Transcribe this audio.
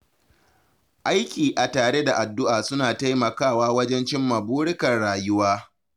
Aiki a tare da addu’a suna taimakawa wajen cimma burikan rayuwa.